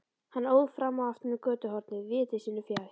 Hann óð fram og aftur um götuhornið viti sínu fjær.